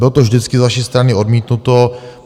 Bylo to vždycky z vaší strany odmítnuto.